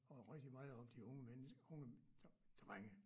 og rigtig meget om de unge menneske unge drenge